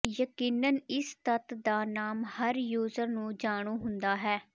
ਯਕੀਨਨ ਇਸ ਤੱਤ ਦਾ ਨਾਮ ਹਰ ਯੂਜ਼ਰ ਨੂੰ ਜਾਣੂ ਹੁੰਦਾ ਹੈ